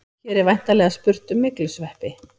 Hér er væntanlega spurt um myglusveppi.